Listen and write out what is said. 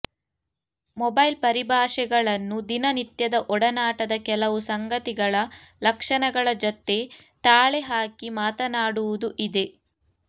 mobile ಪರಿಭಾಷೆಗಳನ್ನು ದಿನ ನಿತ್ಯದ ಒಡನಾಟದ ಕೆಲವು ಸಂಗತಿಗಳ ಲಕ್ಷಣಗಳ ಜತೆ ತಾಳೆ ಹಾಕಿ ಮಾತನಾಡುವುದೂ ಇದೆ